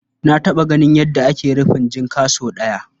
Na taɓa ganin yadda ake rufin jinka sau ɗaya.